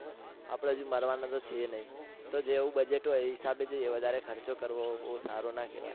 આપણે હજુ મરવાના તો છીએ નહી જેવું budget હોય એ હિશાબે જૈયે વધારે ખર્ચો કરવો બહુ સારો ના કેવાય.